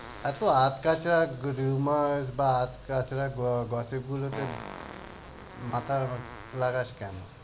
এতো আদকাচরা rumor বা আদকাচরা gossip গুলোতে মাথা লাগাস কেন?